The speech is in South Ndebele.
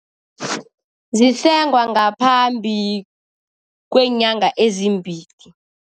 Zisengwa ngaphambi kweenyanga ezimbili.